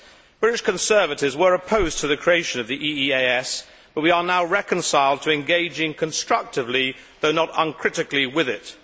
British Conservatives were opposed to the creation of the EEAS, but we are now reconciled to engaging constructively, though not uncritically, with it.